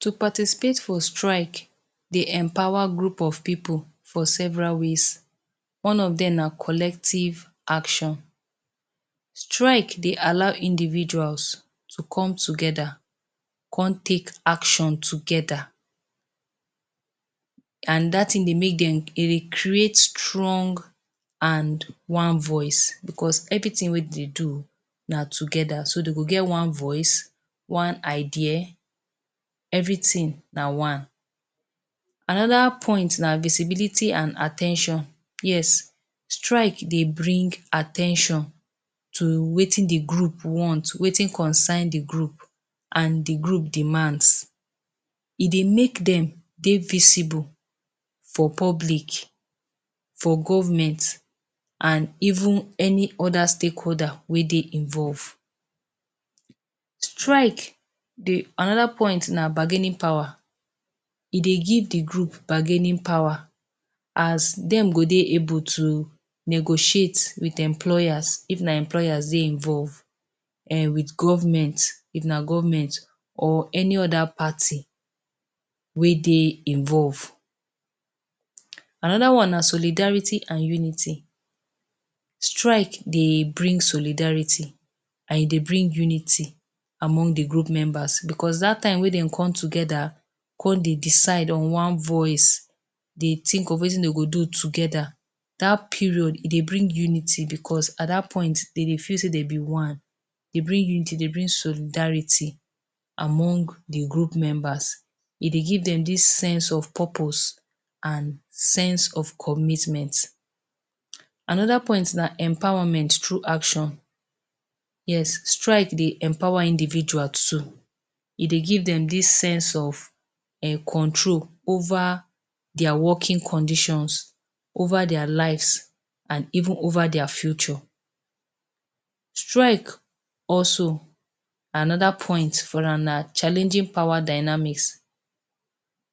To participate for strike dey empower group of pipu for several ways. One of dem na collective action. Strike dey allow individuals to come together, come take action together and dat thing dey make dem e dey create strong and one voice because everything wey dey do na together so dey go get one voice, one idea everything na one. Another point na visibility and at ten tion. Yes, strike dey bring at ten tion to wetin de group want, wetin concern de group and de group demands. E dey make dem dey visible for public, for government and even any other stakeholder wey dey involve. Strike dey, another point na bargaining power. E dey give de group bargaining power as dem go dey able to negotiate with employers if na employers dey involve, um with government if na government or any other party wey dey involve. Another one na solidarity and unity. Strike dey bring solidarity and e dey bring unity among de group members because dat time wey dem come together, come dey decide on one voice, dey think of wetin dem go do together, dat period e dey bring unity because at dat point dem dey feel say dem be one. Dey bring unity, dey bring solidarity among de group members. E dey give dem dis sense of purpose and sense of commitment. Another point na empowerment through action. Yes, strike dey empower individual too. E dey give dem dis sense of um control over their working conditions, over their lives and even over their future. Strike also, another point for am na challenging power dynamics.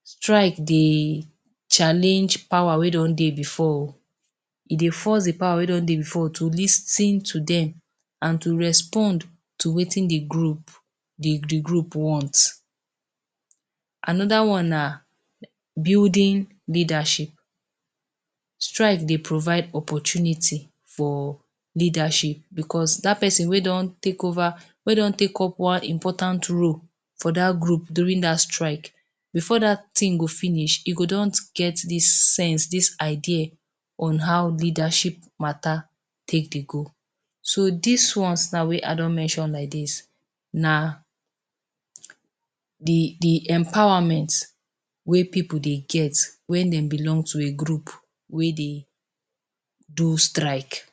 Strike dey challenge power wey don dey before oo, e dey force de power wey don dey before to lis ten to dem and to respond to wetin de group de de group want. Another one na building leadership. Strike dey provide opportunity for leadership because dat person wey don take over wey don take up one important role for dat group during dat strike before dat thing go finish, e go don get dis sense dis idea on how leadership matter take dey go. So dis ones now wey I don mention like dis na de de empowerment wey pipu dey get wen dem belong to a group wey dey do strike.